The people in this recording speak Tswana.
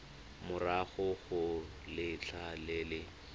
morago ga letlha le le